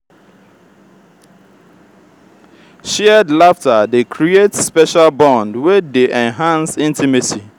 shared laughter dey create special bond wey dey enhance intimacy.